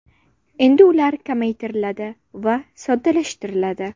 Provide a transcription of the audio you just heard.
Endi ular kamaytiriladi va soddalashtiriladi.